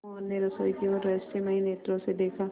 मोहन ने रसोई की ओर रहस्यमय नेत्रों से देखा